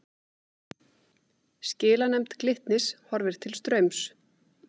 Skilanefnd Glitnis horfir til Straums